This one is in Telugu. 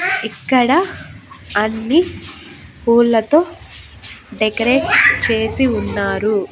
ఇక్కడ అన్నీ పూలతో డెకరేట్ చేసి ఉన్నారు.